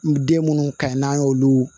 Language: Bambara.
Den munnu ka ɲi n'an y'olu